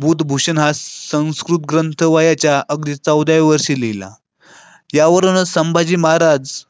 बुधभूषण हा संस्कृत ग्रंथ वयाच्या अगदी या वर्षीला त्यावरून संभाजी महाराज.